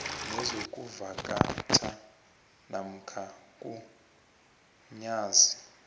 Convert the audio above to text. nezokuvakatjha namkha mgunyazi